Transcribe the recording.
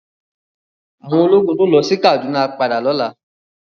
Áwòn ólógùn tó lò si Kaduna á pádà lòlá